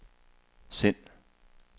send